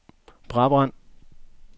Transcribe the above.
Brabrand